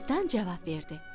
Cırtdan cavab verdi: